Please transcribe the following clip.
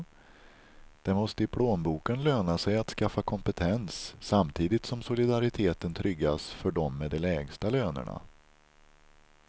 Det måste i plånboken löna sig att skaffa kompetens, samtidigt som solidariteten tryggas för dem med de lägsta lönerna.